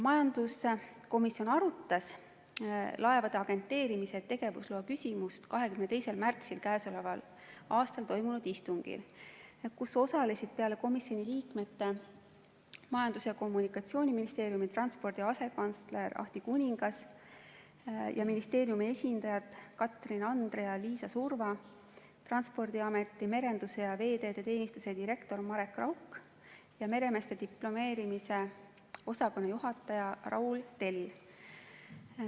Majanduskomisjon arutas laevade agenteerimise tegevusloa küsimust 22. märtsil toimunud istungil, kus osalesid peale komisjoni liikmete Majandus- ja Kommunikatsiooniministeeriumi transpordi asekantsler Ahti Kuningas ning ministeeriumi esindajad Katrin Andre ja Liisa Surva, Transpordiameti merenduse ja veeteede teenistuse direktor Marek Rauk ja meremeeste diplomeerimise osakonna juhataja Raul Tell.